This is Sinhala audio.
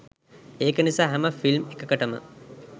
ඒක නිසා හැම ෆිල්ම් එකකටම